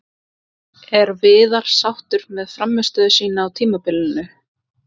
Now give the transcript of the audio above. Er Viðar sáttur með frammistöðu sína á tímabilinu?